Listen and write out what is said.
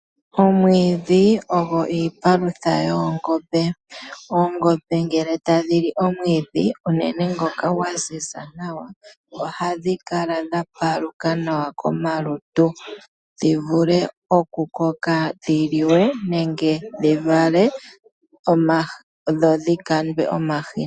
Oomwiidhi ogo iipalutha yoongombe. Oongombe ngele ta dhi li omwiidhi unene ngoka gwaziza nawa, oha dhi kala dha paluka nawa komalutu dhi vule oku koka dhi liwe nenge dhi vale dho dhi kandwe omahini.